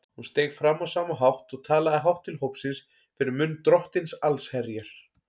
Hún steig fram á sama hátt og talaði hátt til hópsins fyrir munn Drottins allsherjar.